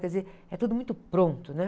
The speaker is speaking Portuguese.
Quer dizer, é tudo muito pronto, né?